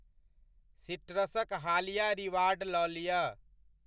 सीट्रसक हालिया रिवार्ड लऽ लिअ।